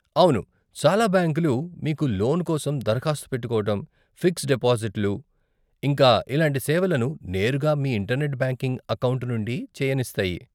అవును, చాలా బ్యాంకులు మీకు లోన్ కోసం దరఖాస్తు పెట్టుకోవటం, ఫిక్స్డ్ డిపాజిట్లు, ఇంకా ఇలాంటి సేవలను నేరుగా మీ ఇంటర్నెట్ బ్యాంకింగ్ అకౌంట్ నుండి చేయనిస్తాయి.